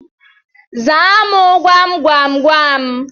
Zaa mu gwamgwamgwam